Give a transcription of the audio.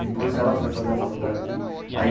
Depois, ela foi fazer a faculdade de aí.